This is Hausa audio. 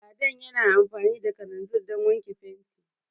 Ladan yana amfani da kalanzir Dan wake fenti